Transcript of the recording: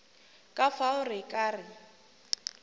ka fao re ka re